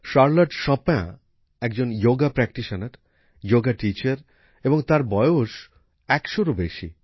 Charlotte Chopin নিয়মিত যোগাভ্যাস করেন যোগ প্রশিক্ষক এবং তার বয়স ১০০রও বেশি